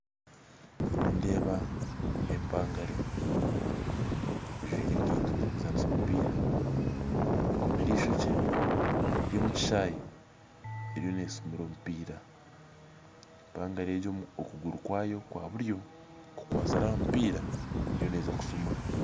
Nindeeba empangare ejwaire enkaito zokuzanisa omupira akomire ishokye eri omu kishaayi eriyo nesimura omupira. Empangare egyo omu kuguru kwayo kwa buryo kukwasire aha mupira, eriyo neeza kushumura